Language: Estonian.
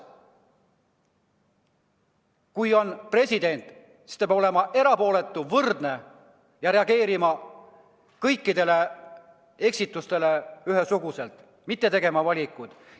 Kui on president, siis ta peab olema erapooletu, võrdne ja reageerima kõikidele eksitustele ühesuguselt, mitte tegema valikuid.